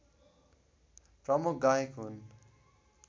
प्रमुख गायक हुन्